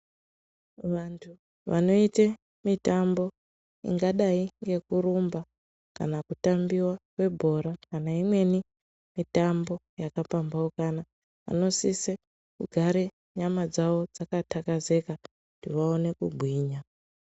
Vantu vanoite mitambo ingadai ngekurumba kana kutambiwa kwebhora kana imweni mitambo yakapambaukana vanosise kugare nyama dzavo dzakatakazeka kuti vaone kugwinya.